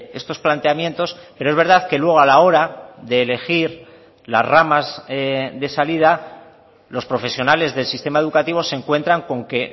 estos planteamientos pero es verdad que luego a la hora de elegir las ramas de salida los profesionales del sistema educativo se encuentran con que